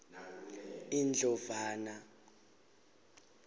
indlovana